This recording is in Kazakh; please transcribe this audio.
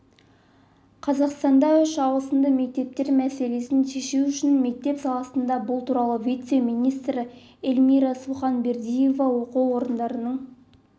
қазақстанда үш ауысымды мектептер мәселесін шешу үшін мектеп салынды бұл туралы вице-министрі эльмира суханбердиева оқу орындарының